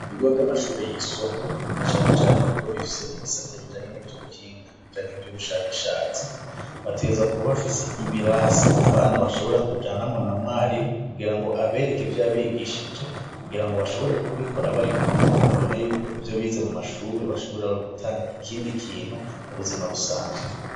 Ibigo vy'amashure yisumbuye na cane cane ibigo bifise ibisata bijanye n'ivy'ubuhinga canke ivy'ubushakashatsi bategerezwa kuba bafise ibirasi abana bashobora kujanamwo na mwarimu kugira ngo abereke ivyo yabigishije kugira ngo bashobore kubikora bari kumwe babone yuko ivyo bize mu mashure bashobora gutanga ikindi kintu mu buzima busanzwe.